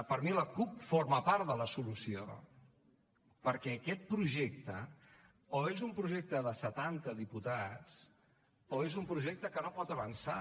per mi la cup forma part de la solució perquè aquest projecte o és un projecte de setanta diputats o és un projecte que no pot avançar